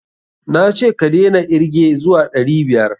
Na ce ka daina irge zuwa ɗari biyar?